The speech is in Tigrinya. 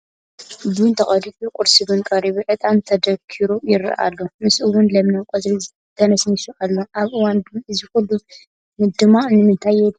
ቡን ተቐዲሑ፣ ቁርሲ ቡን ቀሪቡ፣ ዕጣን ተደኪሩ ይርአ ኣሎ፡፡ ምስኡውን ለምለም ቆፅሊ ተነስኒሱ ኣሎ፡፡ ኣብ እዋን ቡን እዚ ኩሉ ምድማቕ ንምንታይ የድሊ?